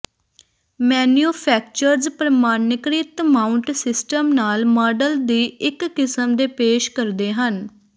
manufacturers ਪਰ੍ਮਾਣੀਿਕਰ੍ਤ mount system ਨਾਲ model ਦੀ ਇੱਕ ਕਿਸਮ ਦੇ ਪੇਸ਼ ਕਰਦੇ ਹਨ